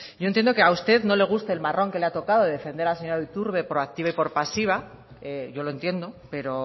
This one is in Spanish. yo entiendo que a usted no le guste el marrón que le ha tocado defender a la señora iturbe por activa y por pasiva yo lo entiendo pero